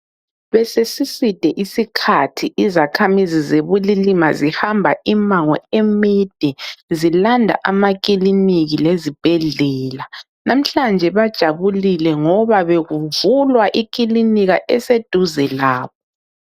Besesiside isikhathi izakhamizi zeBulilima zihamba imango emide zilanda amakliniki lezibhedlela. Namhlanje bajabulile ngoba bekuvulwa iklinika eseduze labo.